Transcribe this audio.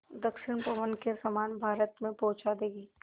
दक्षिण पवन के समान भारत में पहुँचा देंगी